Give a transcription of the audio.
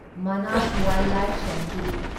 Manas wildlife sanctuary